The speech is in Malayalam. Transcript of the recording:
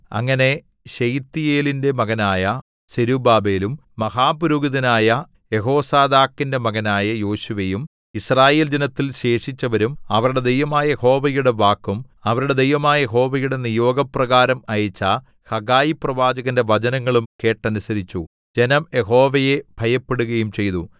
അങ്ങനെ ശെയല്ത്തീയേലിന്റെ മകനായ സെരുബ്ബാബേലും മഹാപുരോഹിതനായ യെഹോസാദാക്കിന്റെ മകനായ യോശുവയും യിസ്രായേല്‍ ജനത്തിൽ ശേഷിച്ചവരും അവരുടെ ദൈവമായ യഹോവയുടെ വാക്കും അവരുടെ ദൈവമായ യഹോവയുടെ നിയോഗപ്രകാരം അയച്ച ഹഗ്ഗായി പ്രവാചകന്റെ വചനങ്ങളും കേട്ടനുസരിച്ചു ജനം യഹോവയെ ഭയപ്പെടുകയും ചെയ്തു